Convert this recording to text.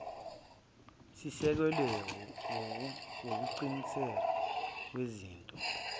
sisekelwe wukusetshenziswa kwezitho